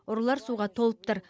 ұралар суға толып тұр